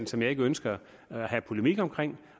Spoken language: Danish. som jeg ikke ønsker at have polemik omkring